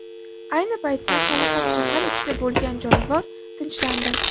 Ayni paytda hali ham shahar ichida bo‘lgan jonivor tinchlandi.